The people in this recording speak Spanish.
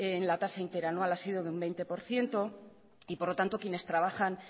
en la tasa interanual ha sido de un veinte por ciento y por lo tanto quienes trabajan